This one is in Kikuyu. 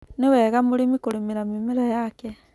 Ni wega mũrĩmi kũrĩmĩra mĩmera yake.